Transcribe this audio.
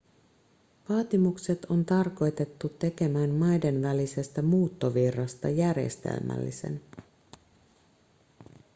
vaatimukset on tarkoitettu tekemään maiden välisestä muuttovirrasta järjestelmällisen